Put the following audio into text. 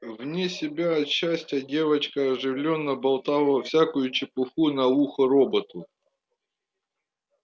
вне себя от счастья девочка оживлённо болтала всякую чепуху на ухо роботу